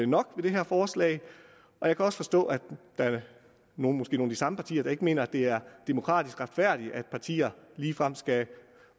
nok med det her forslag og jeg kan også forstå at nogle måske nogle af de samme partier ikke mener at det er demokratisk retfærdigt at partier ligefrem skal